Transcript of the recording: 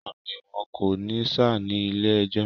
Àmì ìwọ̀n kò ní ṣá ní ilé ẹjọ̀